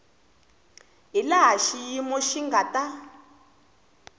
hilaha xiyimo xi nga ta